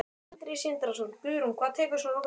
Sindri Sindrason: Guðrún, hvað tekur svona langan tíma?